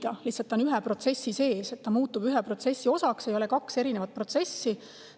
Need on lihtsalt ühe protsessi sees, need muutuvad ühe protsessi osaks, ei ole kaht erinevat protsessi.